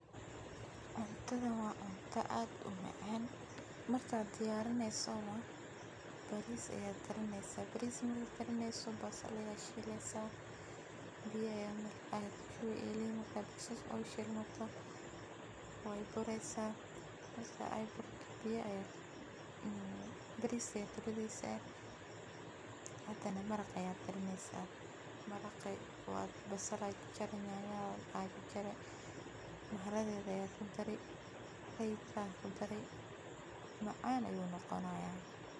Cuntadan waa cunto aad umacaan, markaad diyaarineyso, bariis ayaa karineysa, bariis markaad karineyso basal ayaad shileysa, biya ayaa kudareysa, markeey buraan bariiska ayaad kudareysa, hadane maraq ayaad karineysa, maraqi basal ayaa jarjari nyanya ayaa jarjari,[mharagwe] ayaad kudari,[royco]ayaad kudari, macaan ayuu noqonayaa.